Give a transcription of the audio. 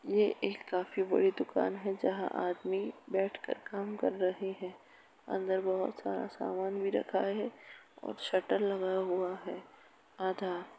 ये एक काफी बड़ी दुकान है जहाँ आदमी बैठकर काम कर रहे हैं। अंदर बोहोत सारा सामान भी रखा है और शटर लगा हुआ है आधा।